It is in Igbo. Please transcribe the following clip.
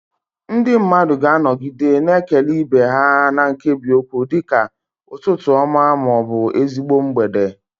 Ndị mmadụ ga-anọgide na-ekele ibe ha na nkebiokwu dị ka "Ụtụtụ ọma" ma ọ bụ "Ezigbo mgbede."